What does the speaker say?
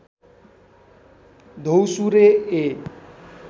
द्यौसुरे ए